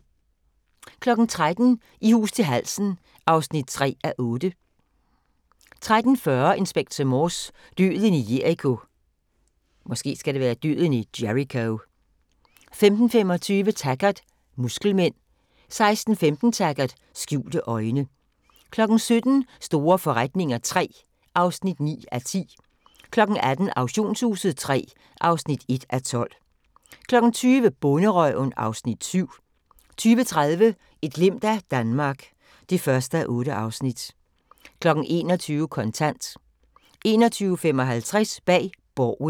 13:00: I hus til halsen (3:8) 13:40: Inspector Morse: Døden i Jericho 15:25: Taggart: Muskelmænd 16:15: Taggart: Skjulte øjne 17:00: Store forretninger III (9:10) 18:00: Auktionshuset III (1:12) 20:00: Bonderøven (Afs. 7) 20:30: Et glimt af Danmark (1:8) 21:00: Kontant 21:55: Bag Borgen